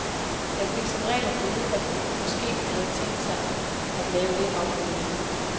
Jeg fik som regel at vide, at de måske havde tænkt sig at lave lidt om på logoet.